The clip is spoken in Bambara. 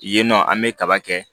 Yen nɔ an bɛ kaba kɛ